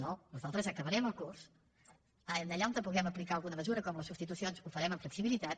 no nosaltres acabarem el curs allà on puguem aplicar alguna mesura com les substitucions ho farem amb flexibilitat